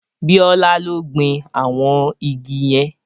Bíọ́lá ló gbin àwọn igi yẹn